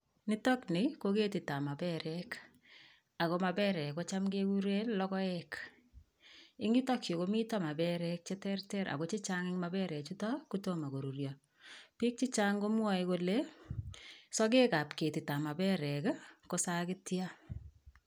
Nitokni ko ketitab maperek, ako maperek kocham kekure logoek, eng yutokyu komito maperek che terter ako che chang eng maperek chuto ko tomo koruryo, piik che chang komwoe kole sokekab ketitab maperek ii ko sakitia